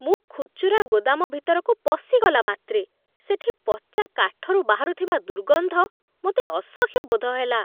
ମୁଁ ଖୁଚୁରା ଗୋଦାମ ଭିତରକୁ ପଶିଗଲା ମାତ୍ରେ ସେଠି ପଚା କାଠରୁ ବାହାରୁଥିବା ଦୁର୍ଗନ୍ଧ ମୋତେ ଅସହ୍ୟ ବୋଧ ହେଲା।